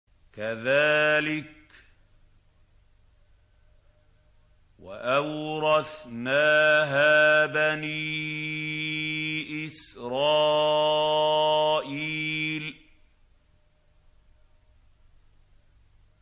كَذَٰلِكَ وَأَوْرَثْنَاهَا بَنِي إِسْرَائِيلَ